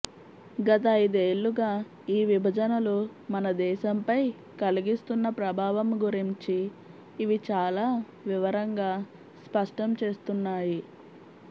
గత అయిదేళ్లుగా ఈ విభజనలు మన దేశంపై కలిగిస్తున్న ప్రభావం గురించి ఇవి చాలా వివరంగా స్పష్టం చేస్తున్నాయి